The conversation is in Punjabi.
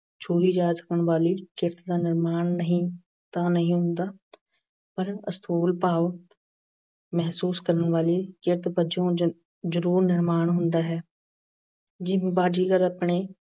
ਛੂਹੀ ਜਾ ਸਕਣ ਵਾਲੀ ਚੇਤਨਾ ਦਾ ਨਿਰਮਾਣ ਨਹੀਂ ਹੁੰਦਾ ਪਰ ਅਸਥੂਲ ਭਾਵ ਮਹਿਸੂਸ ਕਰਨ ਵਾਲੇ ਕਿਰਤ ਵਜੋਂ ਜ਼ਰੂਰ ਅਹ ਨਿਰਮਾਣ ਹੁੰਦਾ ਹੈ। ਜਿਵੇਂ ਬਾਜੀਗਰ ਆਪਣੇ